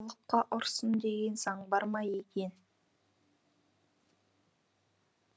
ұлыққа ұрсын деген заң бар ма екен